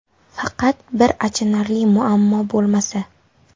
Faqat bir achinarli muammo bo‘lmasa.